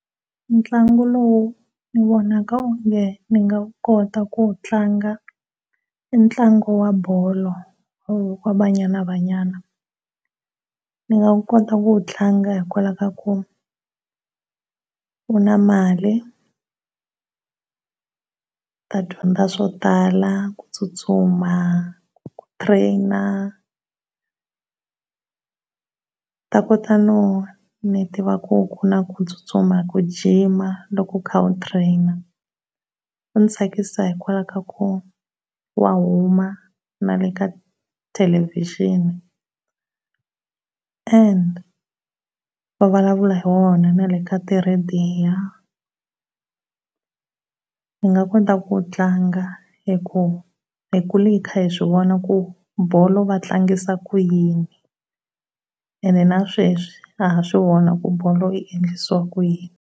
Ntlangu lowu u vonaka o nge mi nga wu kota ku wu tlanga, i ntlangu wa bolo wa banyana banyana ndzi nga kota ku wu tlanga hikwalaho ka ku wu na mali, ndzi ta dyondza swo tala ku tsutsuma ku train. Ta kota no ni tiva ku ku na ku tsutsuma, ku gym loko ukha u train u ndzi tsakisa hikwalaho ka ku wa huma na le ka televison and va vulavula hi wona na le ka ti radio. Ndzi nga kota ku wu tlanga hi ku hi kule hi kha hi swi vona ku bolo va tlangisa ku yini and na sweswi na ha swi vona ku bolo i endlisiwa ku yini.